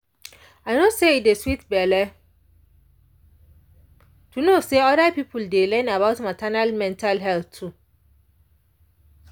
i no say e dey sweet belle to know say oda people dey learn about maternal mental health too.